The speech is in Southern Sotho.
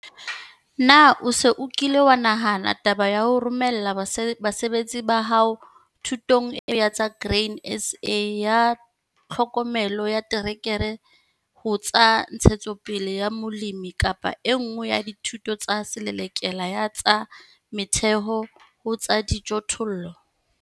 Na o se o kile wa nahana taba ya ho romella basebetsi ba hao thutong e nngwe ya tsa Grain SA ya Tlhokomelo ya Terekere ho tsa Ntshetsopele ya Molemi kapa e nngwe ya dithuto tsa Selelekela ya tsa Metheho ho tsa Dijothollo?